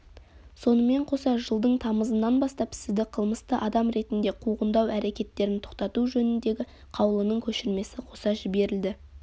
сонымен қоса жылдың тамызынан бастап сізді қылмысты адам ретінде қуғындау әрекеттерін тоқтату жөніндегі қаулының көшірмесі қоса жіберілді